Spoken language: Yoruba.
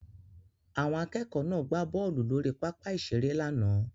Àwọn akẹ́kọ̀ọ́ náà gbá bọ́ọ̀lù lórí pápá ìṣeré lánàá